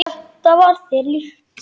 Þetta var þér líkt.